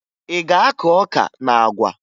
Ị ga-akụ ọka na àgwà?